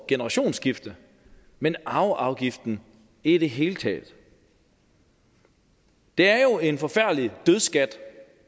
generationsskifte men arveafgiften i det hele taget det er jo en forfærdelig dødsskat